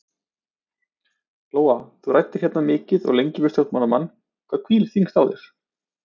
Lóa: Þú ræddir hérna mikið og lengi við stjórnmálamann, hvað hvílir þyngst á þér?